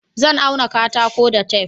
Zan auna katako da tef